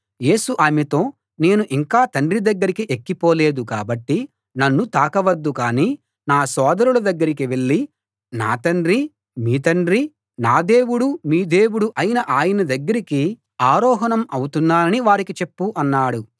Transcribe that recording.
యేసు ఆమెతో నేను ఇంకా తండ్రి దగ్గరికి ఎక్కి పోలేదు కాబట్టి నన్ను తాకవద్దు కానీ నా సోదరుల దగ్గరికి వెళ్ళి నా తండ్రీ మీ తండ్రీ నా దేవుడూ మీ దేవుడూ అయిన ఆయన దగ్గరికి ఆరోహణం అవుతున్నానని వారికి చెప్పు అన్నాడు